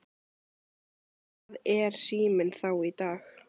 Hvað er Síminn þá í dag?